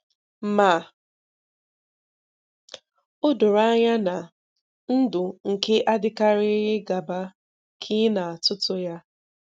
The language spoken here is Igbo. Ma, ọ̀ doro anya na, ndụ̀ kè adị̀karịghị gàbà ka ị na àtùtù ya.